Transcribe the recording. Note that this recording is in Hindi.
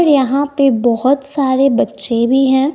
और यहां पे बहोत सारे बच्चे भी हैं।